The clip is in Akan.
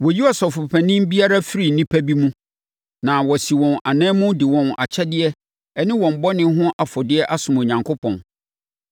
Wɔyi Ɔsɔfopanin biara firi nnipa bi mu na wasi wɔn ananmu de wɔn akyɛdeɛ ne wɔn bɔne ho afɔdeɛ asom Onyankopɔn.